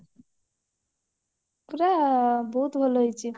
ପୁରା ବହୁତ ଭଲ ହେଇଛି